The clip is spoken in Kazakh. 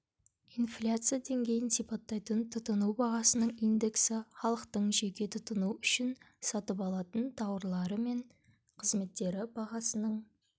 инфляция деңгейін сипаттайтын тұтыну бағасының индексі халықтың жеке тұтыну үшін сатып алатын тауарлары мен қызметтері бағасының